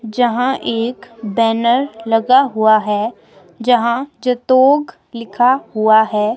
जहां एक बैनर लगा हुआ है जहां जतोग लिखा हुआ है।